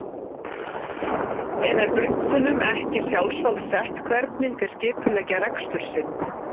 En er bönkunum ekki sjálfsvald sett hvernig þeir skipuleggja rekstur sinn?